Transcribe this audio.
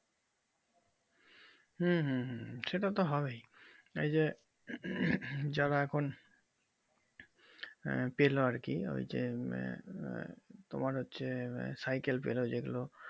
হুম হুম হুম সেটা তো হবেই এই যে যারা এখন পেলো আরকি ওই যে তোমার হচ্ছে সাইকেল পেলো যেগুলো